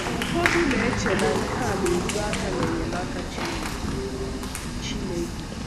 Ụfọdụ na - eche na nke a na - ezo aka n’enyemaka Chineke. Chineke.